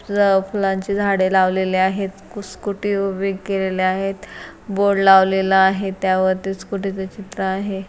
ज फुलांचे झाडे लावलेले आहेत. स्कूटी उभे केलेले आहेत बोर्ड लावलेला आहेत त्या वर स्कूटी च चित्र आहे.